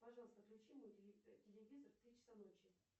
пожалуйста включи мой телевизор в три часа ночи